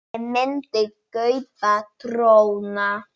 Ég myndi kaupa dróna.